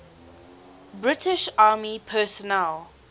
british army personnel